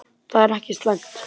Það er ekki slæmt.